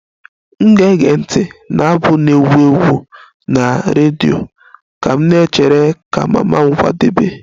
M ga-ege ntị na abụ na-egwu egwu na redio ka m na-echere ka mama m kwadebe